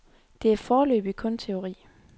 Det er foreløbig kun teori.